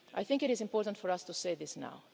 It is important for us to say this